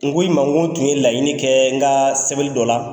N ko i ma n ko n tun ye laɲini dɔ kɛ n ka sɛbɛn dɔ la